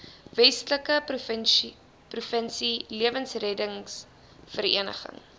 westelike provinsie lewensreddersvereniging